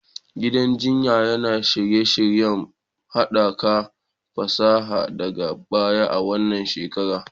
Gidan jinya yana shirye-shiryen haɓaka fasaha daga baya a wannan shekara